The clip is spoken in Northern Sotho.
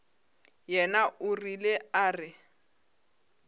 yena o rile a re